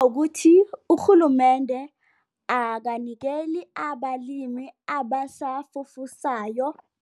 Ukuthi urhulumende akanikeli abalimi abasafufusayo.